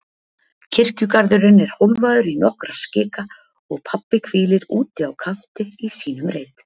Kirkjugarðurinn er hólfaður í nokkra skika og pabbi hvílir úti á kanti í sínum reit.